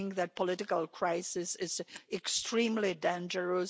I think that political crisis is extremely dangerous.